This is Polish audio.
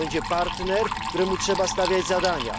To będzie partner, któremu trzeba stawiać zadania.